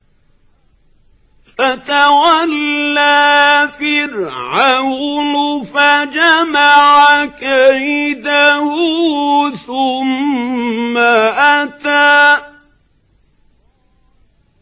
فَتَوَلَّىٰ فِرْعَوْنُ فَجَمَعَ كَيْدَهُ ثُمَّ أَتَىٰ